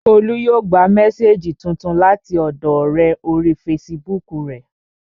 Olú yóò gba mésèjì tuntun láti ọ̀dọọ ọ̀rẹ́ orí fesibúùkù rẹ̀